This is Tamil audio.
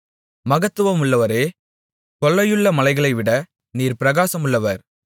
மகத்துவமுள்ளவரே கொள்ளையுள்ள மலைளைவிட நீர் பிரகாசமுள்ளவர்